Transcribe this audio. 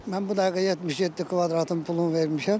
Mən bu dəqiqə 77 kvadratın pulunu vermişəm.